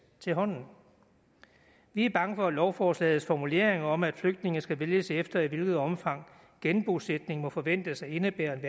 til hånden vi er bange for at lovforslagets formulering om at flygtninge skal vælges efter i hvilket omfang genbosætning må forventes at indebære en